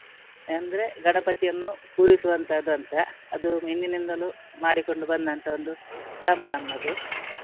ಅಂದ್ರೆ ಗಣಪತಿಯನ್ನು ಪೂರೈಸುವನ್ತದ್ದಂತ ಅದು ಹಿಂದಿನಿಂದಲೂ ಮಾಡಿಕೊಂಡು ಬಂದಂತಹ ಒಂದು ಕ್ರಮ ನಮ್ಮದು.